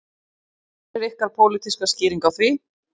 Hver er ykkar pólitíska skýring á því?